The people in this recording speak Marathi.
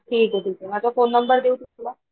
ठीके ठीके माझा फोन नंबर देऊ तुला?